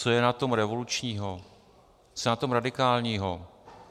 Co je na tom revolučního, co je na tom radikálního?